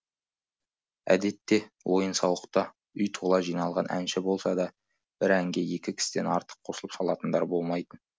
әдетте ойын сауықта үй тола жиналған әнші болса да бір әнге екі кісіден артық қосылып салатындар болмайтын